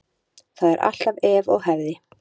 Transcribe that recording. Það er alltaf ef og hefði.